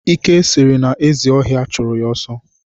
Ike sịrị na ezi ọhịa chụrụ ya ọsọ